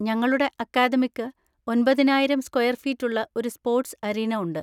ഞങ്ങളുടെ അക്കാദമിക്ക് ഒൻപതിനായിരം സ്‌ക്വയർ ഫീറ്റ് ഉള്ള ഒരു സ്പോർട്സ് അരീന ഉണ്ട്.